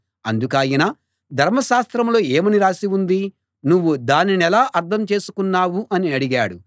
అందుకాయన ధర్మశాస్త్రంలో ఏమని రాసి ఉంది నువ్వు దానినెలా అర్థం చేసుకున్నావు అని అడిగాడు